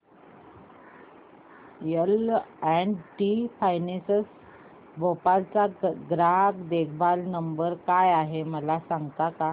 L and T finance Bhopal चा ग्राहक देखभाल नंबर काय आहे मला सांगता का